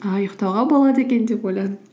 ыыы ұйықтауға болады екен деп ойладым